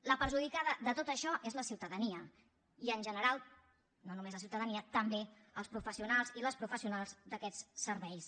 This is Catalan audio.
la perjudicada de tot això és la ciutadania i en general no només la ciutadania també els professionals i les professionals d’aquests serveis